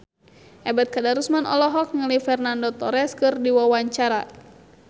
Ebet Kadarusman olohok ningali Fernando Torres keur diwawancara